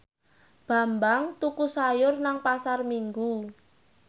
Bambang tuku sayur nang Pasar Minggu